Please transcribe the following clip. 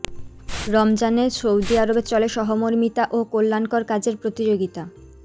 রমজানে সৌদি আরবে চলে সহমর্মিতা ও কল্যাণকর কাজের প্রতিযোগিতা